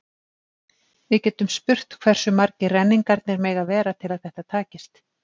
Við getum spurt hversu margir renningarnir mega vera til að þetta takist.